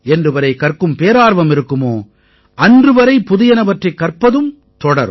என்றுவரை கற்கும் பேரார்வம் இருக்குமோ அன்று வரை புதியனவற்றைக் கற்பதும் தொடரும்